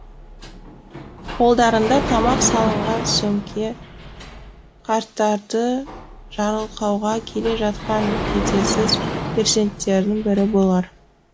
қолдарында тамақ салынған сөмке қарттарды жарылқауға келе жатқан жетесіз перзенттердің бірі болар